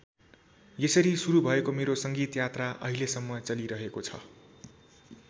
यसरी सुरू भएको मेरो सङ्गीत यात्रा अहिलेसम्म चलिरहेको छ।